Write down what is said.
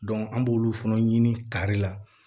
an b'olu fana ɲini kari la